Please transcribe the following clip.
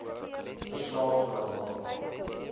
verslaaf geraak daaraan